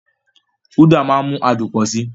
Uda máa ń mú adùn pọ̀ sí i.